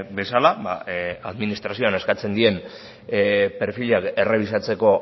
bezala administrazioan eskatzen dien perfila errebisatzeko